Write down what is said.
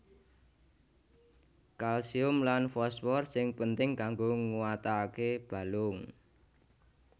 Kalsium lan fosfor sing penting kanggo nguataké balung